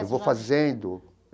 Eu vou fazendo.